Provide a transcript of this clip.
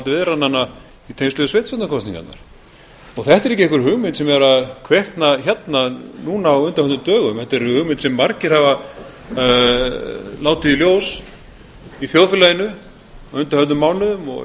viðræðnanna í tengslum við sveitarstjórnarkosningarnar þetta er ekki einhver hugmynd sem er að kvikna hérna núna á undanförnum dögum þetta er hugmynd sem margir hafa látið í ljós í þjóðfélaginu á undanförnum mánuðum